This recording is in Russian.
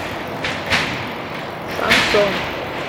шансон